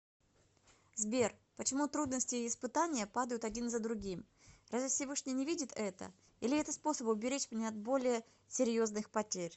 сбер почему трудности и испытания падают один за другим разве всевышний не видит это или это способ уберечь меня от более серьезных потерь